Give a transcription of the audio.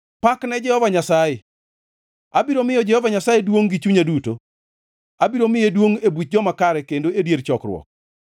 Pak ne Jehova Nyasaye! Abiro miyo Jehova Nyasaye duongʼ gi chunya duto, abiro miye duongʼ e buch joma kare kendo e dier chokruok.